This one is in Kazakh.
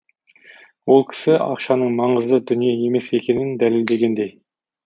ол кісі ақшаның маңызды дүние емес екенін дәлелдегендей